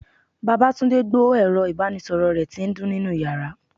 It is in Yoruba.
babatunde gbó erò ibanísoro re ti n dun ninú yara.